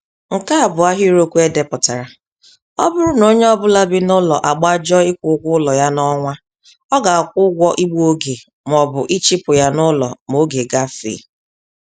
Nkèá bụ ahịrịokwu edepụtara: Ọbụrụ na onyé ọbula bị n'ụlọ agbajọ ịkwụ ụgwọ ụlọ ya n'ọnwa, ọ ga kwụ ụgwọ igbu-oge mọbụ ịchụpụ ya n'ụlọ m'oge gáfèè